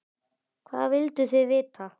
Hvað vilduð þið vita?